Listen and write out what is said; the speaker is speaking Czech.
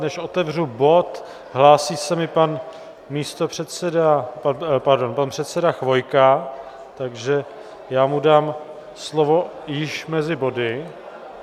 Než otevřu bod, hlásí se mi pan místopředseda, pardon, pan předseda Chvojka, takže já mu dám slovo již mezi body.